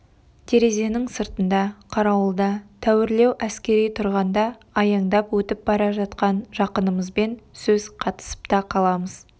терезенің сыртында қарауылда тәуірлеу әскери тұрғанда аяңдап өтіп бара жатқан жақынымызбен сөз қатысып та қаламыз